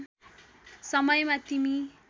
समयमा तिमी